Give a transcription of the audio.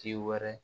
Ji wɛrɛ